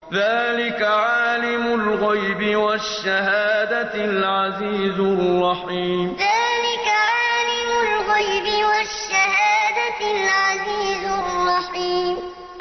ذَٰلِكَ عَالِمُ الْغَيْبِ وَالشَّهَادَةِ الْعَزِيزُ الرَّحِيمُ ذَٰلِكَ عَالِمُ الْغَيْبِ وَالشَّهَادَةِ الْعَزِيزُ الرَّحِيمُ